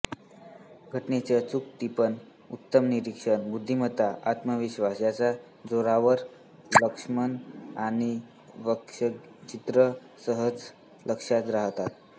घटनांचे अचूक टिपण उत्तम निरीक्षण बुद्धिमत्ता आत्मविश्वास याच्या जोरावर लक्ष्मण यांची व्यंगचित्रे सहजच लक्षात राहतात